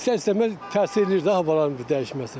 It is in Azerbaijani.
İstər-istəməz təsir eləyir də havaların dəyişməsi.